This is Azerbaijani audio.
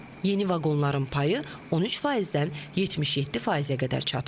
Yeni vaqonların payı 13%-dən 77%-ə qədər çatıb.